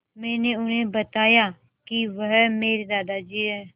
मैंने उन्हें बताया कि वह मेरे दादाजी हैं